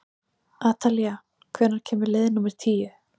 Atalía, hvenær kemur leið númer tíu?